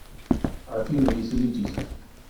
афина веселитесь